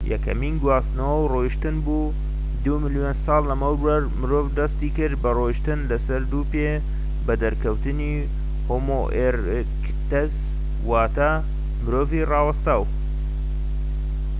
یەکەمین گواستنەوە ڕۆیشتن بوو، دوو ملیۆن ساڵ لەمەوبەر مرۆڤ دەستی کرد بە ڕۆیشتن لە سەر دوو پێ بە دەرکەوتنی هۆمۆ ئێرکتەس واتە مرۆڤی ڕاوەستاو